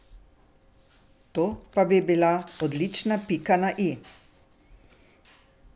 To pa bi bila odlična pika na i.